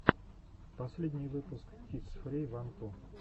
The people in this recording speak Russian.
последний выпуск кидс фри ван ту